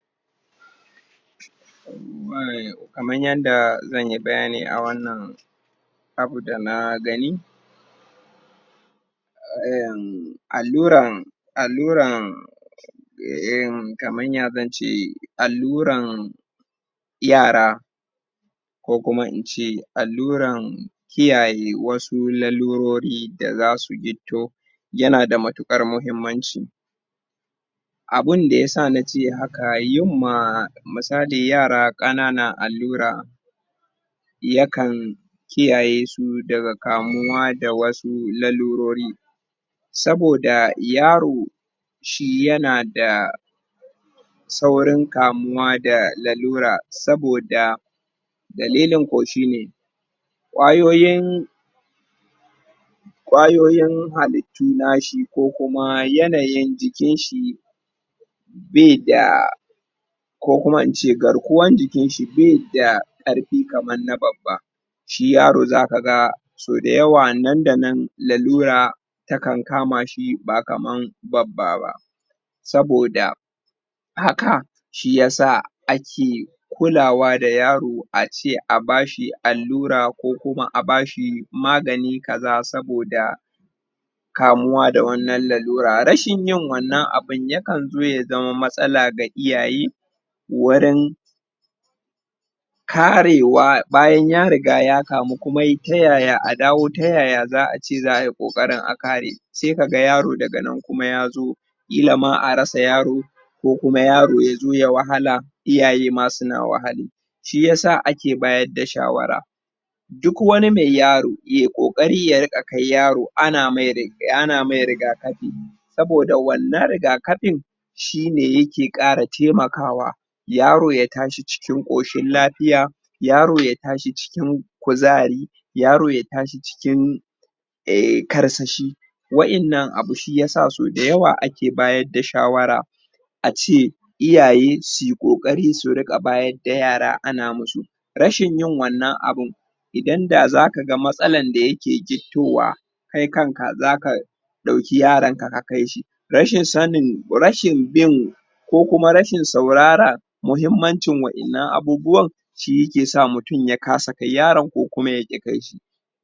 kamar yadda zanyi bayani a wannan abu da na gani um um alluran alluran um in kamar ya zance alluran yara ko kuma in ce alluran kiyaye wasu larurori da zasu gitto yana da matukar mahimmanci abunda ya sa nace haka yin ma misali yara kanana allura ya kan kiyayesu daga kamuwa da wasu larurori saboda yaro shi yana da saurin kamuwa da lalura saboda dalilin ko shine kwayoyin kwayoyin halit littu nashi ko kuma yanayin jiki nashi be da ko kuma ince garkuwan jikinshi be da karfi kamar na babba shi yaro zaka ga so da yawa nan da nan lalura ta kan kama shi ba kamar babba ba saboda haka shiyasa ake kulawa da yaro ace a bashi allura ko kuma a ce a bashi magani kaza saboda kamuwa da wannan lalura rashin yin wannan abun ya kan zo ya zama matsala ga iyaye wurin karewa bayan ya riga ya kamu kuma ye ta yaya a dawo ta yaya zaa ce zaayi kokarin a kare sai kaga yaro daganan kuma ya zo kila ma a rasa yaro ko kuma yaro ya zo ya wahala iyaye ma suna wahale shiyasa ake bayar da shawara duk wani me yaro ye kokari ya riga kai yaro ana mai rig ana mai rigakafi saboda wannan rigakafin shine yake kara taimakawa yaro ya tashi cikin koshin lafiya yaro ya tashi cikin kuzari yaro ya tashi cikin karsashi wa'ennan abu shiyasa sau da yawa ake ake bayar da shawara ace iyaye suyi kokari su riga bayar da yara ana masu rashin yin wannan abun idan da zaka ga matsalan da yake git towa kai kan ka zaka dauki yaron ka ka kaishi rashin sanin rashin bin ko kuma rashin saurara muhimmancin wa'ennan abubuwan shi yake sa mutum ya kasa kai yaron ko kuma ya ki kaishi